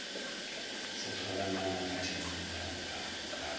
sehlola na ngaka thedimogane ga